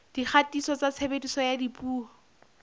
dikgatiso tsa tshebediso ya dipuo